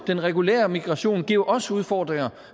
den regulære migration giver jo også udfordringer